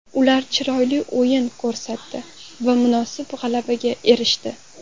Ular chiroyli o‘yin ko‘rsatdi va munosib g‘alabaga erishdi.